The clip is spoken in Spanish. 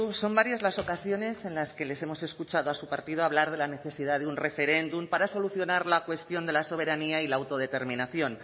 son varias las ocasiones en las que les hemos escuchado a su partido hablar de la necesidad de un referéndum para solucionar la cuestión de la soberanía y la autodeterminación